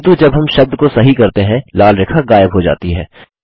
किन्तु जब हम शब्द को सही करते हैं लाल रेखा गायब हो जाती है